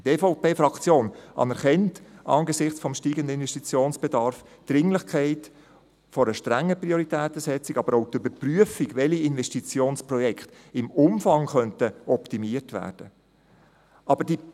Die EVP-Fraktion anerkennt angesichts des steigenden Investitionsbedarfs die Dringlichkeit einer strengen Prioritätensetzung, aber auch die Überprüfung, welche Investitionsprojekte im Umfang optimiert werden könnten.